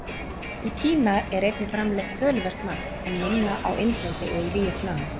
Í Kína er einnig framleitt töluvert magn, en minna á Indlandi og í Víetnam.